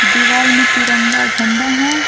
दीवाल में तिरंगा झंडा है।